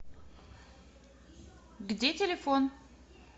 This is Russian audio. где телефон